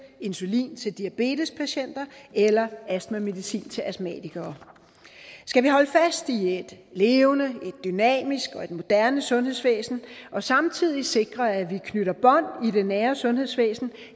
insulin til diabetespatienter eller astmamedicin til astmatikere skal vi holde fast i et levende et dynamisk og et moderne sundhedsvæsen og samtidig sikre at vi knytter bånd i det nære sundhedsvæsen